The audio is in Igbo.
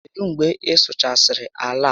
Kedụ mgbe ị sụchasịrị àlà a?